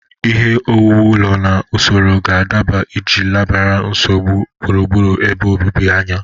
Ihe owuwu ụlọ na usoro ga-adaba iji lebara nsogbu gburugburu ebe obibi anya.